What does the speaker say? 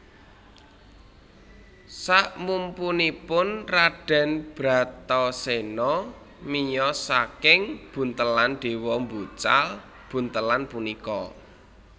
Saksmpunipun Raden Bratasena miyos saking buntelan Dewa mbucal buntelan punika